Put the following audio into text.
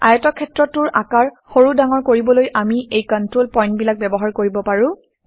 আয়তক্ষেত্ৰটোৰ আকাৰ সৰু ডাঙৰ কৰিবলৈ আমি এই কণ্ট্ৰল পইণ্টবিলাক ব্যৱহাৰ কৰিব পাৰোঁ